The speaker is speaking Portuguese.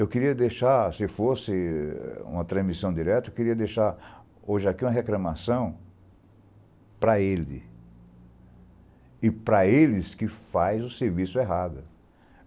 Eu queria deixar, se fosse uma transmissão direta, eu queria deixar hoje aqui uma reclamação para ele e para eles que fazem o serviço errado.